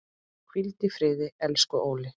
Hvíldu í friði, elsku Óli.